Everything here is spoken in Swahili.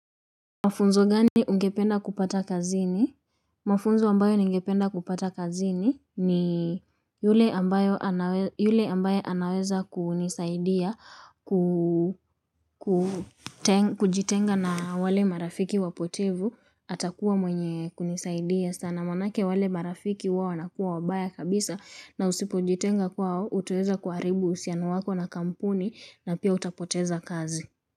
Mafunzo gani ungependa kupata kazini? Mafunzo ambayo ningependa kupata kazini ni yule ambaye anaweza kunisaidia kujitenga na wale marafiki wapotevu atakuwa mwenye kunisaidia sana. Manake wale marafiki wao wanakuwa wabaya kabisa na usipojitenga kwao utaeza kuharibu uhusiano wako na kampuni na pia utapoteza kazi.